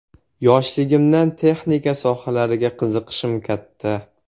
Yoshligimdan texnika sohalariga qiziqishim katta.